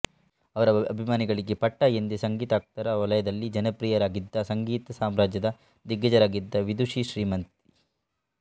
ಅವರ ಅಭಿಮಾನಿಗಳಿಗೆ ಪಟ್ಟಾ ಎಂದೇ ಸಂಗೀತಾಸಕ್ತರ ವಲಯದಲ್ಲಿ ಜನಪ್ರಿಯರಾಗಿದ್ದ ಸಂಗೀತ ಸಾಮ್ರಾಜ್ಯದ ದಿಗ್ಗಜರಾಗಿದ್ದ ವಿದುಷಿ ಶ್ರೀಮತಿ